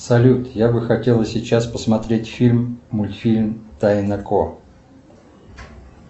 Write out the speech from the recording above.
салют я бы хотела сейчас посмотреть фильм мультфильм тайна ко